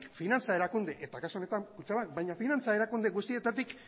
finantza erakunde eta kasu honetan kutxabank baina finantza erakunde guztietatik